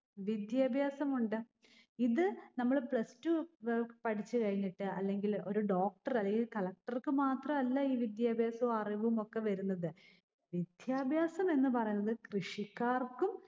വിദ്യാഭ്യാസം ഉണ്ട്. ഇത് നമ്മള് Plus Two ഏർ പഠിച്ചുകഴിഞ്ഞിട്ട് അല്ലെങ്കില് ഒരു doctor അതെ ഈ collector ക്ക് മാത്രമല്ല ഈ വിദ്യാഭ്യാസോം അറിവും ഒക്കെ വരുന്നത്. വിദ്യാഭ്യാസം എന്ന് പറയുന്നത് കൃഷിക്കാർക്കും